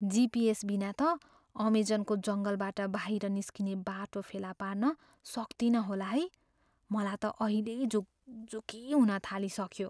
GPS बिना त अमेजनको जङ्गलबाट बाहिर निस्किने बाटो फेला पार्न सक्तिनँ होला है। मलाई त अहिल्यै झुकझुकी हुन थालिसक्यो।